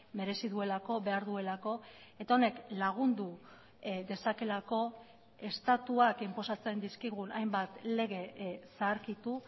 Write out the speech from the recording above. merezi duelako behar duelako eta honek lagundu dezakeelako estatuak inposatzen dizkigun hainbat lege zaharkitu